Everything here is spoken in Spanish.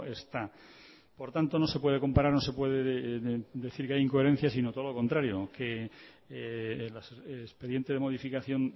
está por tanto no se puede comparar no se puede decir que hay incoherencias sino todo lo contrario que el expediente de modificación